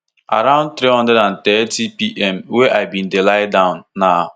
around three hundred and thirtypm wen i bin dey lie down na